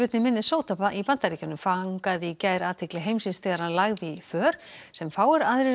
í Minnesota í Bandaríkjunum fangaði í gær athygli heimsins þegar hann lagði í för sem fáir aðrir en